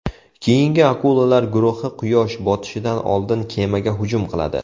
Keyingi akulalar guruhi Quyosh botishidan oldin kemaga hujum qiladi.